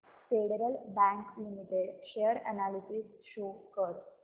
federal Bank Limited share analysis show कर